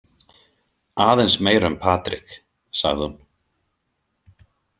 Aðeins meira um Patrik, sagði hún.